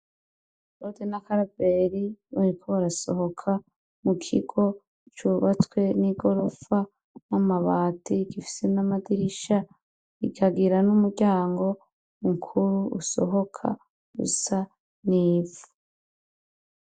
Lode na karibeli bonikoba arasohoka mu kigo cubatswe n'i gorofa n'amabati gifise n'amadirisha ikagira n'umuryango mukuru usohoka gusa n'ifa.